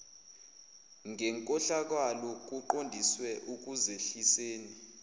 ngenkohlakalo kuqondiswe ekuzehliseni